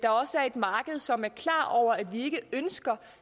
marked som er klar over at vi ikke ønsker